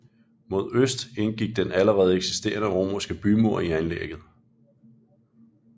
Mod øst indgik den allerede eksisterende romerske bymur i anlægget